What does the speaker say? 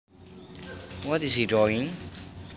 What is he doing